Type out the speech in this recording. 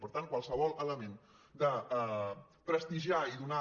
per tant qualsevol element de prestigiar i donar